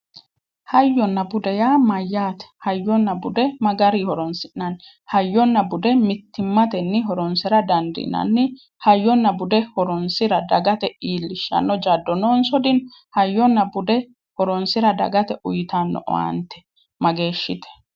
Hayyonna bude yaa mayyaate? Hayyonna bude ma garinni horonsi'nanni? Hayyonna bude mittimmatenni horonsira dandiinanni? Hayyonna bude horoonsira dagate iillishshano jaddo noonso dino? Hayyonna bude horonsira dagate uuyitano owaante mageeshshite?